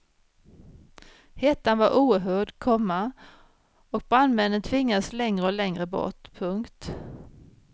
Hettan var oerhörd, komma och brandmännen tvingades längre och längre bort. punkt